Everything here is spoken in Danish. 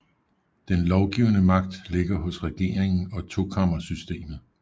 Den lovgivende magt ligger hos regeringen og tokammersystemmet